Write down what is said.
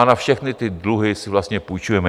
A na všechny ty dluhy si vlastně půjčujeme.